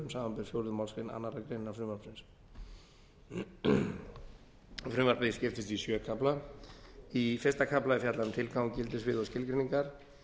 samanber fjórðu málsgrein annarrar greinar frumvarpsins frumvarpið skiptist í sjöunda kafla í fyrsta kafla er fjallað um tilgang gildissvið og skilgreiningar